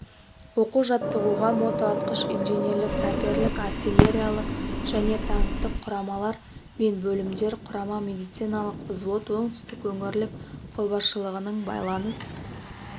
оқу-жаттығуға мотоатқыш инженерлік-саперлік артиллериялық және танкті құрамалар мен бөлімдер құрама медициналық взвод оңтүстік өңірлік қолбасшылығының байланыс